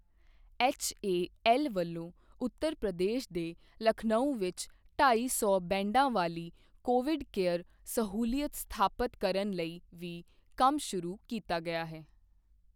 HAL ਵੱਲੋਂ ਉੱਤਰ ਪ੍ਰਦੇਸ਼ ਦੇ ਲਖਨਉ ਵਿੱਚ ਢਾਈ ਸੌ ਬੈੱਡਾਂ ਵਾਲੀ ਕੋਵਿਡ ਕੇਅਰ ਸਹੂਲਤ ਸਥਾਪਤ ਕਰਨ ਲਈ ਵੀ ਕੰਮ ਸ਼ੁਰੂ ਕੀਤਾ ਗਿਆ ਹੈ।